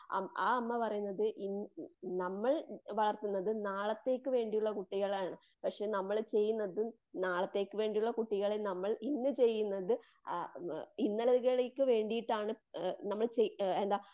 ആ അമ്മ പറയുന്നത് ഈ ഇന്ന് നമ്മൾ വളർത്തുന്നത് നാളത്തേക്ക് വേണ്ടിയുള്ള കുട്ടികളെയാണ്. പക്ഷെ നമ്മള്ചെയ്യുന്നത് നാളത്തേക്ക് വേണ്ടിയുള്ള കുട്ടികളെ നമ്മൾ ഇന്ന് ചെയുന്നത് ആ ഇന്നലെകളിലേക്കു വേണ്ടീട്ടാണ്. നമ്മൾ ചെയ്യ് എന്താ?